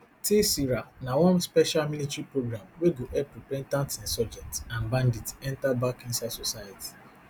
tsira na one special military program wey go help repentant insurgents and bandits enter back inside society